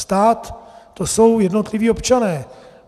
Stát, to jsou jednotliví občané.